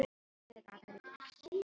Það er eins og mýrin hafi gleypt það.